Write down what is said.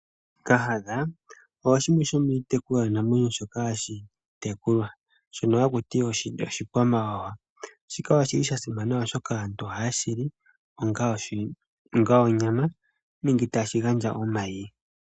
Kahadha osho shimwe shomiitekulwanamwenyo shoka hashi tekulwa shono haku ti oshikwamawawa, shika oshili sha simana oshoka aantu ohaye shi li onga onyama nenge tashi gandja omayi.